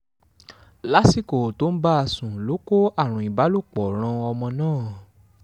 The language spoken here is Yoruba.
lásìkò tó ń bá a sùn ló kó àrùn ìbálòpọ̀ ran ọmọ náà